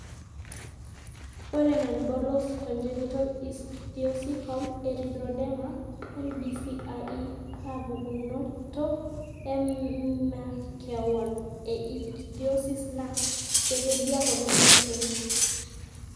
Ore Nonbullous congenital ichthyosiform erythroderma (NBCIE) na pukunoto emakewon e i ichthyosis na kitadiak oleng olchoni.